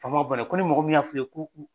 Faama ban ko ni mɔgɔ min y'a fu ye ku